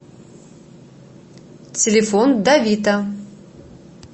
телефон давита